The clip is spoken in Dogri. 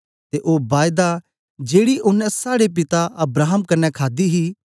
ते ओ बायदा जेड़ी ओनें साड़े पिता अब्राहम कन्ने खादी ही